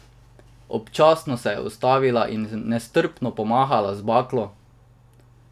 Občasno se je ustavila in nestrpno pomahala z baklo.